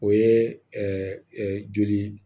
O ye joli